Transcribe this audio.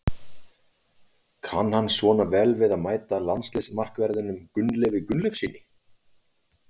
Kann hann svona vel við að mæta landsliðsmarkverðinum Gunnleifi Gunnleifssyni?